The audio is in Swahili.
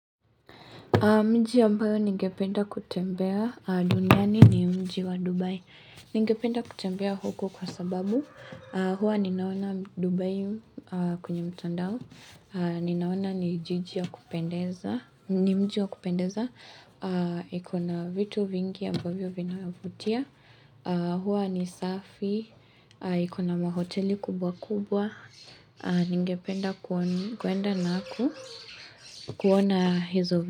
Mji ambayo ningependa kutembea duniani ni mji wa Dubai. Ningependa kutembea huko kwa sababu huwa ninaona Dubai kwenye mtandao. Ninaona ni jiji wa kupendeza. Ni mji wa kupendeza. Ikona vitu vingi ambavyo vinavutia. Hewa ni safi. Ikona mahoteli kubwa kubwa. Ningependa kuenda naku. Kuona hizo vingi.